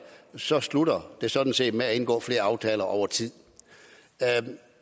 så slutter det sådan set med at indgå flere aftaler over tid